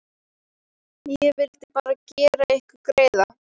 Ég vildi bara gera ykkur greiða.